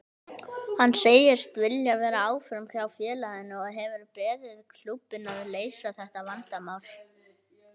Hann segist vilja vera áfram hjá félaginu og hefur beðið klúbbinn að leysa þetta vandamál.